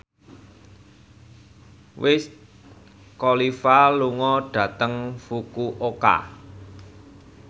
Wiz Khalifa lunga dhateng Fukuoka